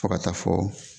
Fo ka taa fɔ